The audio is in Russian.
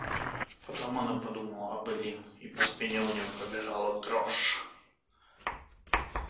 потом она подумала об эллин и по спине у неё пробежала дрожь